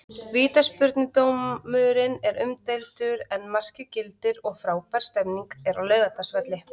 Vítaspyrnudómurinn er umdeildur en markið gildir og frábær stemning er á Laugardalsvelli.